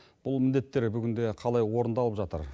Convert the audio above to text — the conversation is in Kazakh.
бұл міндеттер бүгінде қалай орындалып жатыр